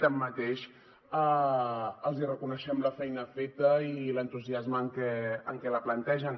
tanmateix els reconeixem la feina feta i l’entusiasme amb què la plantegen